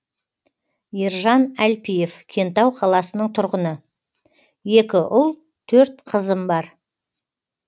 ержан әлпиев кентау қаласының тұрғыны екі ұл төрт қызым бар